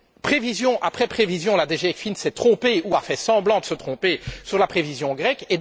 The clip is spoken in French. Prévision après prévision, la DG ECFIN s'est trompée ou a fait semblant de se tromper sur la situation grecque.